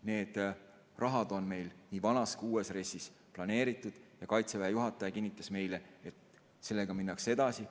See raha on meil nii vanas kui ka uues RES-is planeeritud ja Kaitseväe juhataja kinnitas meile, et sellega minnakse edasi.